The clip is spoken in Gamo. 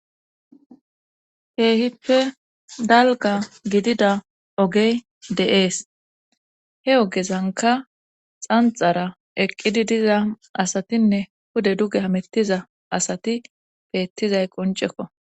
Keehippe dalgga gidida oogey de'ees he ogezanka xanxara eqqidi diza asatinne pude duge haamettiza asati beettizay qoncekko